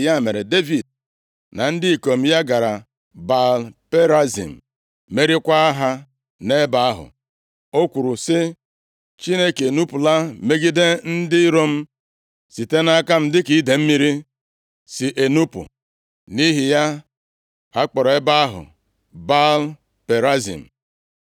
Ya mere, Devid na ndị ikom ya gara Baal-Perazim, meriekwa ha nʼebe ahụ. O kwuru sị, “Chineke enupula megide ndị iro m site nʼaka m, dịka idee mmiri si enupu.” Nʼihi ya, a kpọrọ ebe ahụ Baal Perazim.